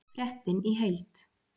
Fréttin í heild